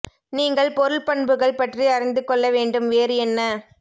நீங்கள் பொருள் பண்புகள் பற்றி அறிந்து கொள்ள வேண்டும் வேறு என்ன